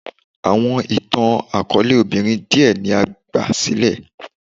Awọn itan-akọọlẹ obinrin diẹ ni a gbasilẹ